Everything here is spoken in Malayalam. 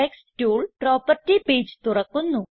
ടെക്സ്റ്റ് ടൂൾ പ്രോപ്പർട്ടി പേജ് തുറക്കുന്നു